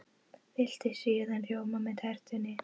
Viltu sýrðan rjóma með tertunni?